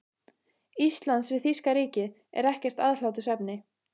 Íslands við þýska ríkið, er ekkert aðhlátursefni.